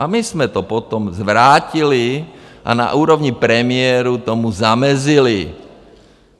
A my jsme to potom zvrátili a na úrovni premiérů tomu zamezili.